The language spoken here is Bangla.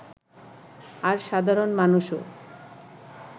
আর সাধারণ মানুষও